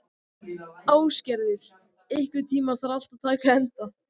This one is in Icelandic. Ásgerður, einhvern tímann þarf allt að taka enda.